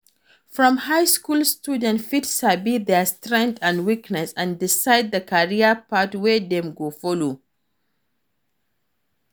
From high school students fit sabi their strength and weaknesses and decide the career path wey Dem go follow